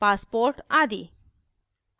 passport आदि